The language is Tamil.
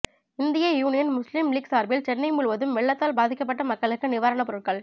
இந்திய யூனியன் முஸ்லிம் லீக் சார்பில் சென்னை முழுவதும் வெள்ளத்தால் பாதிக்கப்பட்ட மக்களுக்கு நிவாரணப் பொருட்கள்